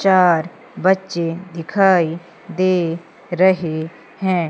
चार बच्चे दिखाई दे रहे हैं।